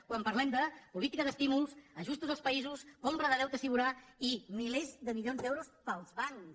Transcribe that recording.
quan parlem de política d’estímuls ajustos als països compra de deute sobirà i milers de milions d’euros per als bancs